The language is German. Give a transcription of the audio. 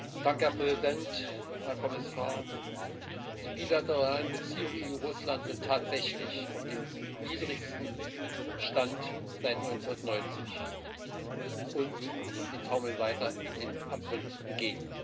Herr Präsident, Herr Kommissar! Die bilateralen Beziehungen EU Russland sind tatsächlich auf dem niedrigsten Stand seit 1990, und sie taumeln weiter dem Abgrund entgegen.